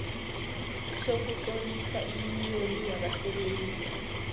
sokutlolisa iyuniyoni yabasebenzi